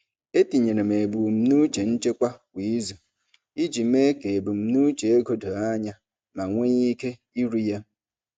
Etinyere m ebumnuche nchekwa kwa izu iji mee ka ebumnuche ego doo anya ma nwee ike iru ya.